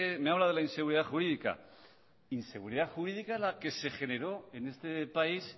me habla de la inseguridad jurídica inseguridad jurídica es la que se generó en este país